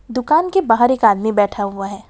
दुकान के बाहर एक आदमी बैठा हुआ हैं।